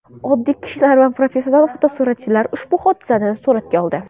Oddiy kishilar va professional fotosuratchilar ushbu hodisani suratga oldi.